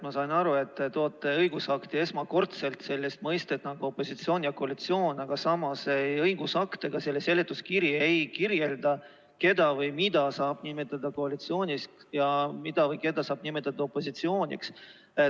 Ma sain aru, et te toote õigusakti esmakordselt sellised mõisted nagu "opositsioon" ja "koalitsioon", aga samas ei õigusakt ega selle seletuskiri ei kirjelda, keda või mida saab nimetada koalitsiooniks ja mida või keda saab nimetada opositsiooniks.